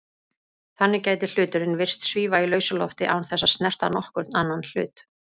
Þannig gæti hluturinn virst svífa í lausu lofti án þess að snerta nokkurn annan hlut.